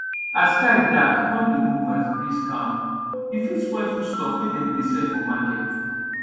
as sky dark con dey move as breeze calm e fit spoil food stuff wey dem dey sell for market